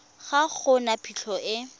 ga go na phitlho e